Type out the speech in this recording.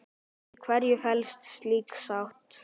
Í hverju felst slík sátt?